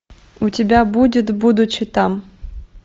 у тебя будет будучи там